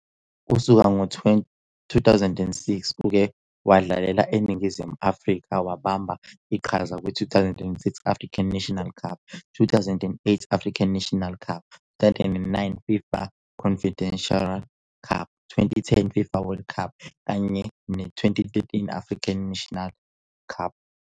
Kusukela ngo-2006 uke wadlalela iNingizimu Afrika, wabamba iqhaza kwi- 2006 African Nations Cup, 2008 African Nations Cup, 2009 FIFA Confederations Cup, 2010 FIFA World Cup kanye ne- 2013 African Nations Cup.